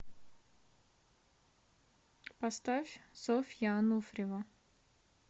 поставь софья ануфриева